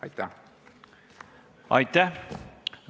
Aitäh!